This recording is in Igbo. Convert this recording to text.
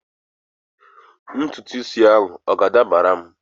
ntutu isi a ọ ga-adabara m?